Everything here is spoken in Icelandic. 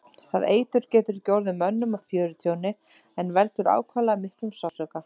Það eitur getur ekki orðið mönnum að fjörtjóni en veldur ákaflega miklum sársauka.